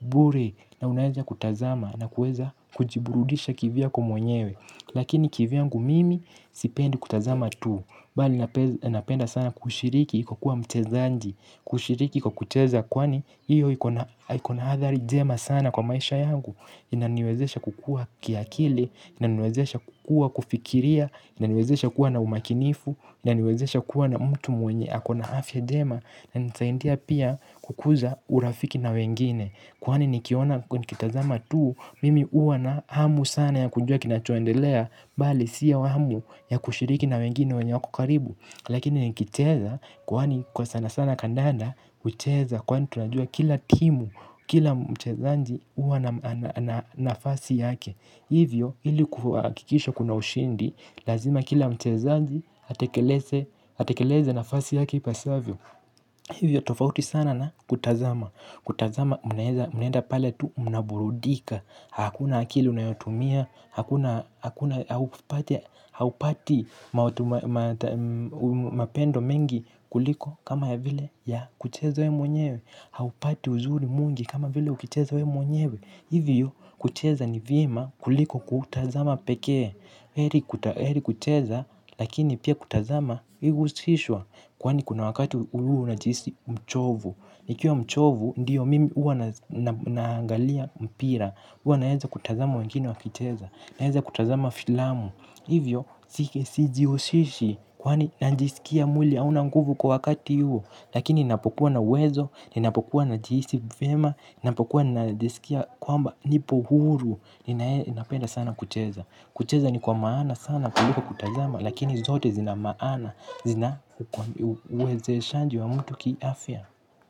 bure na unaweza kutazama. Na kuweza kujiburudisha kivi yako mwenyewe. Lakini kivi yangu mimi sipendi kutazama tu. Bali napenda sana kushiriki kwa kuwa mchezaji. Kushiriki kwa kucheza kwani hiyo ikona hathari njema sana kwa maisha yangu. Inaniwezesha kukuwa kiakili, inaniwezesha kukuwa kufikiria, inaniwezesha kuwa na umakinifu, inaniwezesha kuwa na mtu mwenye akona afya njema. Na inanisaidia pia kukuza urafiki na wengine. Kwani nikitazama tuu, mimi huwa na hamu sana ya kujua kinachoendelea, bali sio hamu ya kushiriki na wengine wenye wako karibu. Lakini ni kicheza kwani kwa sana sana kandanda hucheza kwani tunajua kila timu. Kila mchezaji huwa na nafasi yake. Hivyo ili kuhakikisha kuna ushindi. Lazima kila mchezaji atekeleze nafasi yake ipasavyo. Hivyo tofauti sana na kutazama. Kutazama mnaenda pale tu mnaburudika. Hakuna akili unayotumia. Hakuna haupati mapendo mengi kuliko kama ya vile ya kucheza wewe mwenyewe. Haupati uzuri mwingi kama vile ukicheza wewe mwenyewe. Hivyo kucheza ni vyema kuliko kutazama pekee. Heri kucheza lakini pia kutazama ihusishwe. Kwani kuna wakati huwa unajihisi mchovu. Nikiwa mchovu ndiyo mimi uwa naangalia mpira. Huwa naaza kutazama wengine wakicheza. Naweza kutazama filamu. Hivyo, sijihushishi. Kwani najisikia mwili hauna nguvu kwa wakati huo. Lakini napokuwa na uwezo ninapokuwa najihisi vyema. Ninapokuwa najisikia kwamba nipo huru. Ninapenda sana kucheza. Kucheza ni kwa maana sana kuliko kutazama. Lakini zote zina maana. Zina uwezeshaji wa mtu kiafya.